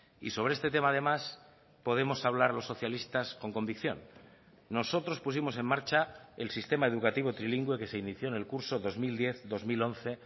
y sobre este tema además podemos hablar los socialistas con convicción nosotros pusimos en marcha el sistema educativo trilingüe que se inició en el curso dos mil diez dos mil once